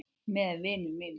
Með vinum mínum.